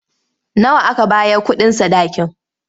Nawa aka bayar kuɗin sadakin?